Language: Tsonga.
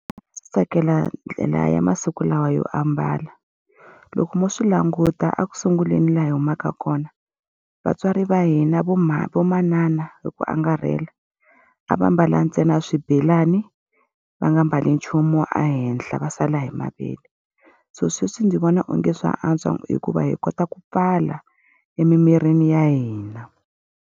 Ndzi tsakela ndlela ya masiku lawa yo ambala. Loko mo swi languta eku sunguleni laha hi humaka kona, vatswari va hina vo vo manana hi ku angarhela, a va ambala ntsena swibelani va nga mbali nchumu wa ehenhla va sala hi mavele. So sweswi ndzi vona onge swa antswa hikuva hi kota ku pfala emimirini ya hina.